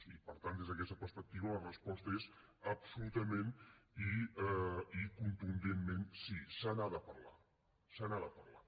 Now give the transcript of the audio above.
i per tant des d’aquesta perspectiva la resposta és absolutament i contundentment sí se n’ha de parlar se n’ha de parlar